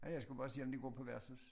Ja jeg skulle bare se om de går på værtshus